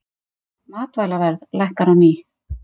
Matvælaverð lækkar á ný